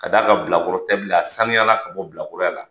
Ka da kan bilakɔrɔ tɛ bila a sanuya ka bɔ bilakoroya la.